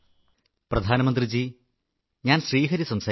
പ്രധാനമന്ത്രി ജീ ഞാൻ ശ്രീഹരി സംസാരിക്കുന്നു